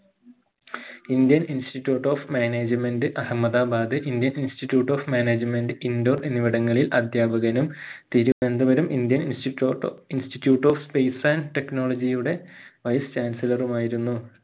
indian institute of management Ahmedabad indian institute of management Indore എന്നിവടെങ്ങളിൽ അദ്ധ്യാപകനും Thiruvananthapuram indian institute o institute of space and technology യുടെ bystandlser ഉമായിരുന്നു